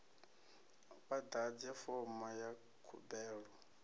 vha ḓadze fomo ya khumbelo